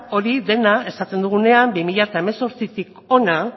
hori dena esaten dugunean bi mila zortzitik hona